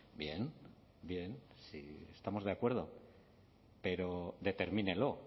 bien bien sí estamos de acuerdo pero determínelo